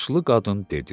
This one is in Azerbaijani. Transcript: Yaşlı qadın dedi.